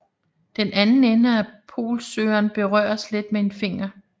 Den anden ende af polsøgeren berøres let med en finger